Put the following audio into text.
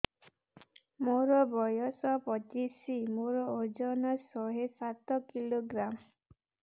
ମୋର ବୟସ ପଚିଶି ମୋର ଓଜନ ଶହେ ସାତ କିଲୋଗ୍ରାମ